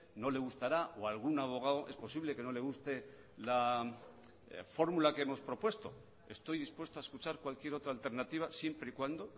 no le gustará o a algún abogado es posible que no le guste la fórmula que hemos propuesto estoy dispuesto a escuchar cualquier otra alternativa siempre y cuando